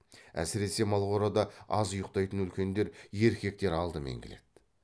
әсіресе малқорада аз ұйықтайтын үлкендер еркектер алдымен келеді